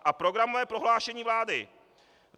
A programové prohlášení vlády.